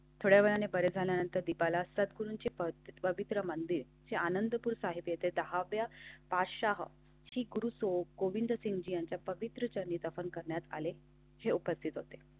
थोड्या वेळाने परत झाल्यानंतर दीपाला असतात. गुरूची पत् पवित्र मंदिर आहे. आनंदपुर साहिब येथे दहा व्या छप्पन की गुरू गोविंद सिंग यांच्या पवित्र चरणी अर्पण करण्यात आले हे उपस्थित होते.